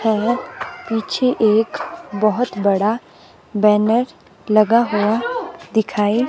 है पीछे एक बहुत बड़ा बैनर लगा हुआ दिखाई--